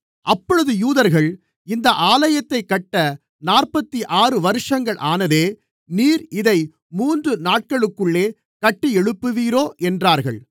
அப்பொழுது யூதர்கள் இந்த ஆலயத்தைக் கட்ட நாற்பத்தாறு வருடங்கள் ஆனதே நீர் இதை மூன்று நாட்களுக்குள்ளே கட்டி எழுப்புவீரோ என்றார்கள்